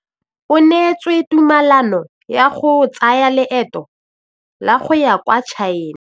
O neetswe tumalanô ya go tsaya loetô la go ya kwa China.